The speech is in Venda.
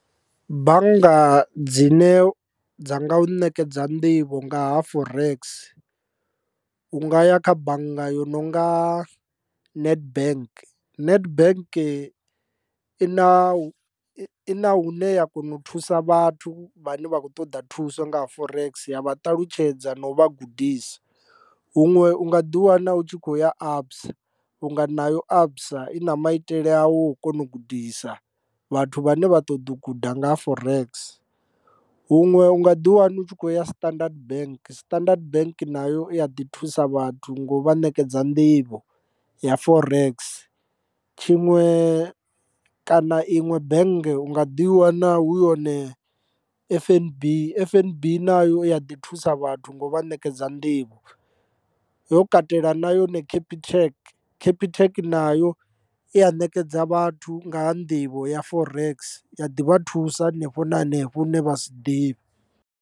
Bannga dzine dza nga u nekedza nḓivho nga ha forex u nga ya kha bannga yo no nga Nedbank. Nedbank ina ina hune ya kona u thusa vhathu vhane vha khou ṱoḓa thuso nga ha forex ya vha ṱalutshedza na u vha gudisa. Huṅwe u nga ḓi wana u tshi khou ya ABSA vhu nga nayo ABSA i na maitele awo o kona u gudisa vhathu vhane vha ṱoḓa u guda nga ha forex. Huṅwe u nga ḓi wana u tshi khou ya standard bank standard bank nayo ya ḓi thusa vhathu ngo vha ṋekedza nḓivho ya forex, tshiṅwe kana iṅwe bank u nga ḓi wana hu yone F_N_B. F_N_B nayo i ya ḓi thusa vhathu ngo vha ṋekedza nḓivho yo katela na yone capitec capitec nayo i ya ṋekedza vhathu nga ha nḓivho ya forex ya ḓivha thusa henefho na henefho hu ne vha si ḓivhe.